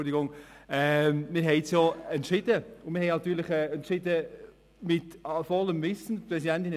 Wir haben so entschieden, und natürlich haben wir dies im vollen Wissen um die Konsequenzen getan.